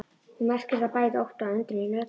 Hún merkir bæði ótta og undrun í röddinni.